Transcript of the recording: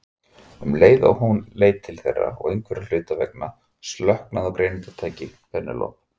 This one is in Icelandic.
Um leið leit hún til þeirra og einhverra hluta vegna slöknaði á greiningartæki Penélope.